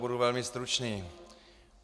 Budu velmi stručný.